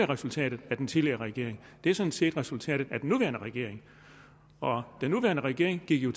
resultatet af den tidligere regering det er sådan set resultatet af den nuværende regering og den nuværende regering gik jo